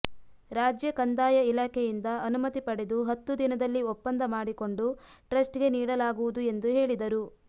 ರಾಜ್ಯ ಕಂದಾಯ ಇಲಾಖೆಯಿಂದ ಅನುಮತಿ ಪಡೆದು ಹತ್ತು ದಿನದಲ್ಲಿ ಒಪ್ಪಂದ ಮಾಡಿಕೊಂಡು ಟ್ರಸ್ಟ್ಗೆ ನೀಡಲಾಗುವುದು ಎಂದು ಹೇಳಿದರು